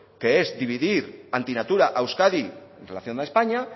que es dividir antinatura a euskadi en relación a españa